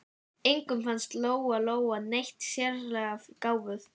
Engum fannst Lóa Lóa neitt sérlega gáfuð.